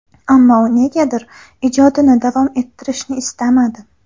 Ammo u negadir ijodini davom ettirishni istamadi.